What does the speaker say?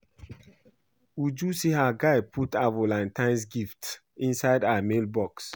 Uju say her guy put her Valantine's gift inside her mail box